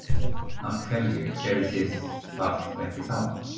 Af hverju gerðuð þið það ekki þá?